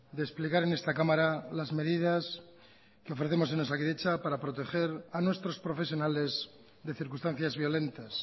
de explicar en esta cámara las medidas que ofrecemos en osakidetza para proteger a nuestros profesionales de circunstancias violentas